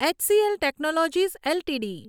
HCl technologies LTD